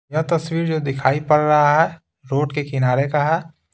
यह तस्वीर जो दिखाई पड़ रहा है रोड के किनारे का है।